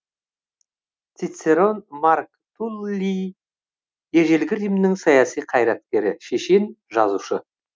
цицерон марк туллий ежелгі римнің саяси қайраткері шешен жазушы